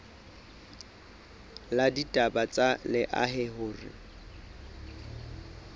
la ditaba tsa lehae hore